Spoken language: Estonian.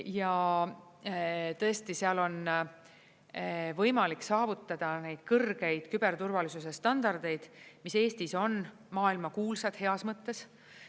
Ja tõesti, seal on võimalik saavutada neid kõrgeid küberturvalisuse standardeid, mis Eestis on maailmakuulsad, heas mõttes.